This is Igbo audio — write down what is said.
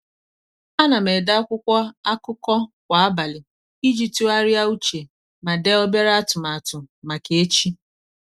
a na m ede akwụkwọ akụkọ kwa abalị iji tụgharịa uche ma dee obere atụmatụ maka echi.